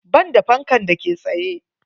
Banda fankan da ke tsaye.